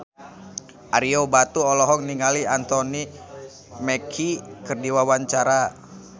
Ario Batu olohok ningali Anthony Mackie keur diwawancara